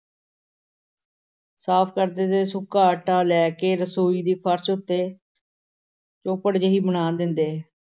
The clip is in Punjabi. ਸਾਫ਼ ਕਰਦੇ ਤੇ ਸੁੱਕਾ ਆਟਾ ਲੈ ਕੇ ਰਸੋਈ ਦੇ ਫ਼ਰਸ਼ ਉੱਤੇ ਚੌਪੜ ਜਿਹੀ ਬਣਾ ਦਿੰਦੇ।